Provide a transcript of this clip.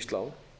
tali